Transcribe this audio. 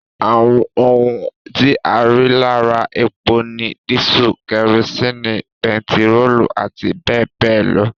Àwọn ohun tí a rí lára epo ni dísù, kerosini, bentiróòlù àti bẹẹbẹẹ lọ